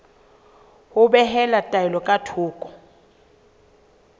ho behela taelo ka thoko